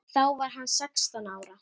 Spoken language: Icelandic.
Þá var hann sextán ára.